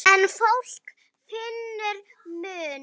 En fólk finnur mun.